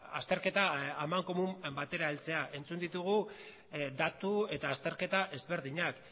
azterketa amankomun batera heltzera entzun ditugu datu eta azterketa ezberdinak